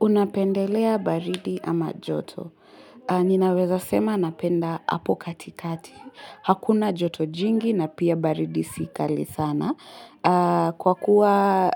Unapendelea baridi ama joto. Ninaweza sema napenda hapo katikati. Hakuna joto jingi na pia baridi sikali sana. Kwa kuwa